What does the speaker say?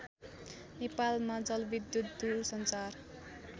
नेपालमा जलविद्युत दुरसञ्चार